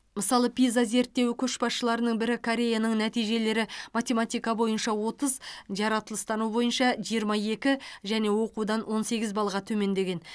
мысалы пиза зерттеуі көшбасшыларының бірі кореяның нәтижелері математика бойынша отыз жаратылыстану бойынша жиырма екі және оқудан он сегіз балға төмендеген